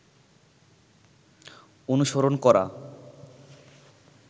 অনুসরণ করা